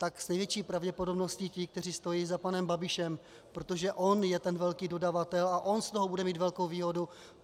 Tak s největší pravděpodobností ti, kteří stojí za panem Babišem, protože on je ten velký dodavatel a on z toho bude mít velkou výhodu.